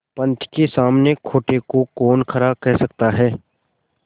पंच के सामने खोटे को कौन खरा कह सकता है